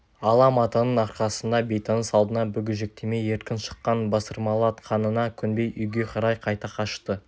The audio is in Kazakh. ала матаның арқасында бейтаныс алдына бүгежектемей еркін шыққан бастырмалатқанына көнбей үйге қарай қайта қашты